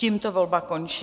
Tímto volba končí.